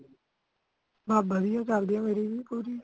ਬਸ ਵਧੀਆ ਚੱਲਦੀ ਮੇਰੀ ਵੀ ਪੂਰੀ